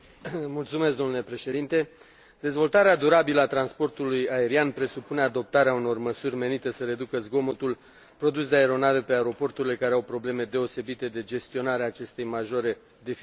Domnule Președinte, dezvoltarea durabilă a transportului aerian presupune adoptarea unor măsuri menite să reducă zgomotul produs de aeronave pe aeroporturile care au probleme deosebite de gestionare a acestei majore deficiențe.